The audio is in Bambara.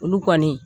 Olu kɔni